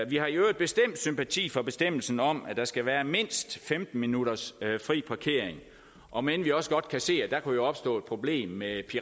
vi har i øvrigt bestemt sympati for bestemmelsen om at der skal være mindst femten minutters fri parkering om end vi også godt kan se at der kan opstå et problem med